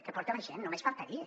que porta la gent només faltaria